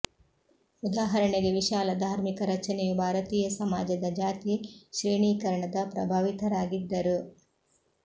ಉದಾಹರಣೆಗೆ ವಿಶಾಲ ಧಾರ್ಮಿಕ ರಚನೆಯು ಭಾರತೀಯ ಸಮಾಜದ ಜಾತಿ ಶ್ರೇಣೀಕರಣದ ಪ್ರಭಾವಿತರಾಗಿದ್ದರು